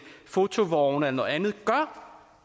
fotovogne eller noget andet gør